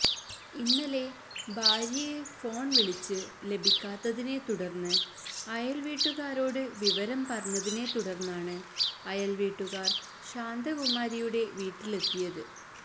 ഇന്നലെ ഭാര്യയെ ഫോണ് വിളിച്ച് ലഭിക്കാത്തതിനെ തുടര്ന്ന് അയല്വീട്ടുകാരോട് വിവരം പറഞ്ഞതിനെ തുടര്ന്നാണ് അയല്വീട്ടുകാര് ശാന്തകുമാരിയുടെ വീട്ടിലെത്തിയത്